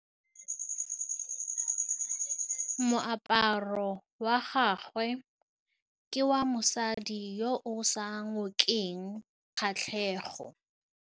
Moaparô wa gagwe ke wa mosadi yo o sa ngôkeng kgatlhegô.